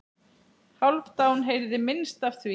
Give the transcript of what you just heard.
Hálfdán heyrði minnst af því.